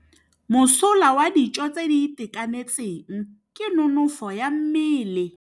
Mosola wa dijô tse di itekanetseng ke nonôfô ya mmele.